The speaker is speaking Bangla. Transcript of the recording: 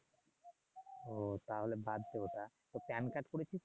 ও তাহলে বাদ দে ওটা কার্ড করেছিস?